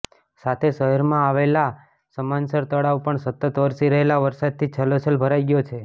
સાથે શહેરમાં આવેલા સામંસર તળાવ પણ સતત વરસી રહેલા વરસાદથી છલોછલ ભરાઈ ગયો છે